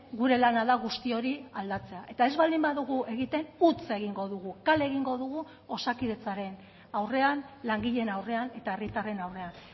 gure lana da guzti hori aldatzea eta ez baldin badugu egiten huts egingo dugu kale egingo dugu osakidetzaren aurrean langileen aurrean eta herritarren aurrean